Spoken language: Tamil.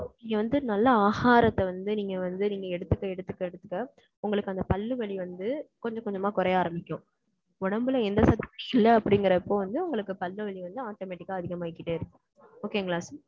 இங்க வந்து நல்ல ஆகாரத்தை வந்து, நீங்க வந்து நீங்க எடுத்துக்க, எடுத்துக்க, எடுத்துக்க, உங்களுக்கு அந்த பல்லு வலி வந்து, கொஞ்சம் கொஞ்சமா கொறைய ஆரம்பிக்கும். உடம்புல எந்த சக்தியும் இல்ல அப்படிங்கிறப்போ வந்து, உங்களுக்கு பல்வலி வந்து, automatic ஆ அதிகமாகிட்டே இருக்கும். Okay ங்களா